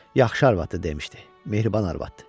Yaxşı arvadı dedi, mehriban arvadı.